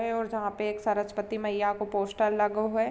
और जहाँ पे एक सरस्वती मईया के पोस्टर लगो हय।